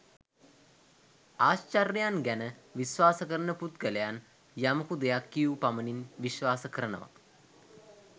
ආශ්චර්යයන් ගැන විශ්වාස කරන පුද්ගලයන් යමකු දෙයක් කියූ පමණින් විශ්වාස කරනවා.